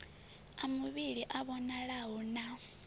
a muvhili a vhonalaho na